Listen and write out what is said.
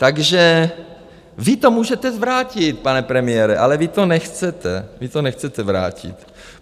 Takže vy to můžete zvrátit, pane premiére, ale vy to nechcete, vy to nechcete zvrátit.